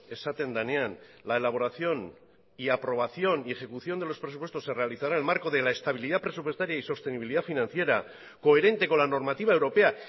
esaten denean la elaboración y aprobación y ejecución de los presupuestos se realizará en el marco de la estabilidad presupuestaria y sostenibilidad financiera coherente con la normativa europea